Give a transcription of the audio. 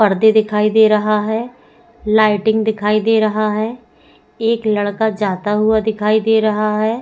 पर्दे दिखाई दे रहा है लाइटिंग दिखाई दे रहा है एक लड़का जाता हुआ दिखाई दे रहा है।